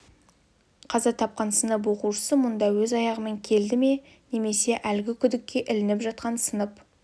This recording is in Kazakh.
қаза тапқан сынып оқушысы мұнда өз аяғымен келді ме немесе әлгі күдікке ілініп жатқан сынып